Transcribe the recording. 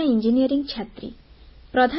ମୁଁ ଜଣେ ଇଞ୍ଜିନିୟରିଂ ଛାତ୍ରୀ